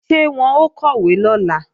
Ṣé wọn ó kọ̀wé lọ́la?